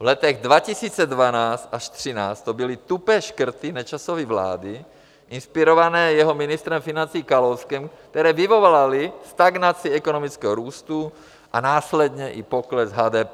V letech 2012 až 2013 to byly tupé škrty Nečasovy vlády inspirované jeho ministrem financí Kalouskem, které vyvolaly stagnaci ekonomického růstu a následně i pokles HDP.